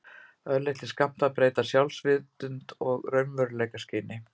Örlitlir skammtar breyta sjálfsvitund og raunveruleikaskyni.